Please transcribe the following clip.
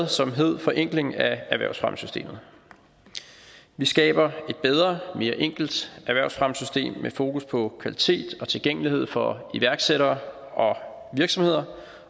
og som hed forenkling af erhvervsfremmessystemet vi skaber et bedre mere enkelt erhvervsfremmesystem med fokus på kvalitet og tilgængelighed for iværksættere og virksomheder